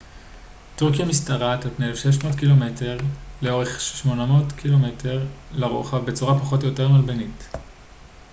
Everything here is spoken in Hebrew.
"טורקיה משתרעת על פני 1,600 קילומטרים 1,000 מייל לאורך ו-800 ק""מ 500 מייל לרוחב בצורה פחות או יותר מלבנית.